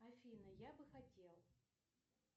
афина я бы хотел